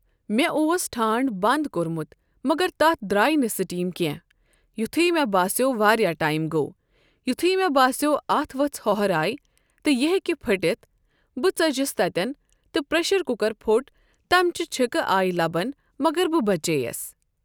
مےٚ اوس ٹھانٛڈ بَنٛد کوٚرمُت مگر تَتھ درٛاے نہٕ سیٹیٖم کیٚنٛہہ یُتھُے مے باسیو واریاہ ٹایِم گوو یُتھُے مے باسیو اَتھ وٕژھ ہوٚہراے تہٕ یہِ ہیکہِ پٕھٹِتھ بہٕ ژٕجِس تَتٮ۪ن تہٕ پرٛیشَر کُکَر پھوٚٹ تَمچہِ چِھکہٕ آے لَبَن مگر بہٕ بَچییَس.